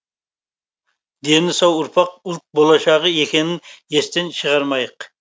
дені сау ұрпақ ұлт болашығы екенін естен шығармайық